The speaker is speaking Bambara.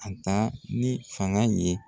A ta ni fanga in ye.